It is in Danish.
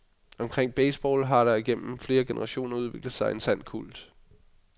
Omkring baseball har der gennem flere generationer udviklet sig en sand kult.